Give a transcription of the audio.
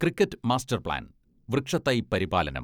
cricket master plan, വൃക്ഷത്തൈ പരിപാലനം